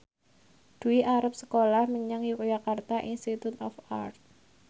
Dwi arep sekolah menyang Yogyakarta Institute of Art